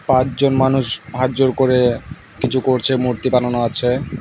পাঁচজন মানুষ হাতজোড় করে কিছু করছে মূর্তি বানানো আছে।